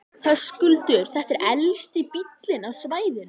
Höskuldur: Þetta er elsti bíllinn á svæðinu?